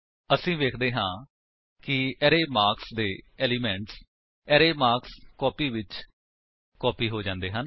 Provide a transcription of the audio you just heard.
ਅਸੀ ਵੇਖਦੇ ਹਾਂ ਕਿ ਅਰੇ ਮਾਰਕਸ ਦੇ ਏਲਿਮੇਂਟਸ ਅਰੇ ਮਾਰਕਸਕੋਪੀ ਵਿੱਚ ਕਾਪੀ ਹੋ ਜਾਂਦੇ ਹਨ